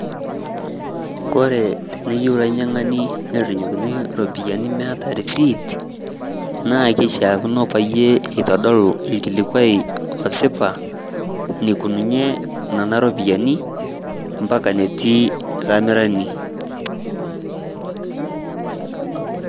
Ore teneyiu lanyiangani nerrinyiokini ropiyiani meetai risiit, naa kishaakino peeitodolu olkilikuai losipa nikununye nena ropiyiani ambaka netii lamirani.